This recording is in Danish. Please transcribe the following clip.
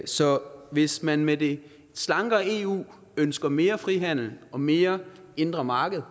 så hvis man med et slankere eu ønsker mere frihandel og mere indre marked